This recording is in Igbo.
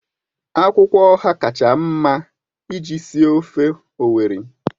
Akwụkwọ Ọha kacha mma iji sie ofe Owerri